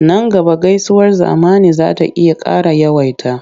Nan gaba gaisuwar zamani za ta iya ƙara yawaita.